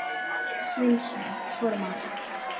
Sveinsson: Formáli.